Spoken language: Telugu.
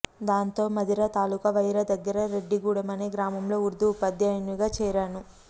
దాంతో మధిర తాలూకా వైరా దగ్గర రెడ్డిగూడెం అనే గ్రామంలో ఉర్దూ ఉపాధ్యాయునిగా చేరాను